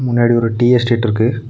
முன்னாடி ஒரு tea estate ருக்கு.